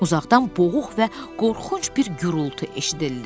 Uzaqdan boğuq və qorxunc bir gurultu eşidildi.